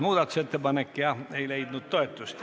Muudatusettepanek ei leidnud toetust.